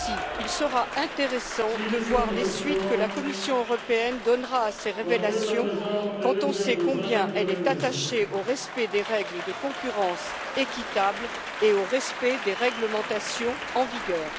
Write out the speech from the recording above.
Aussi, il sera intéressant de voir les suites que la Commission européenne donnera à ces révélations, quand on sait combien elle est attachée au respect des règles de concurrence équitable et à celui des réglementations en vigueur.